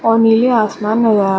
और नीले आसमन नज़र आ रहा --